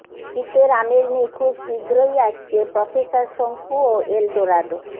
শীতের আমেজ নিয়ে খুব শীঘ্রই আসছে প্রফেসর শঙ্কু ও এল ডোরাডো